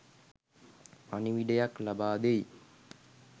පණිවිඩයක් ලබාදෙයි.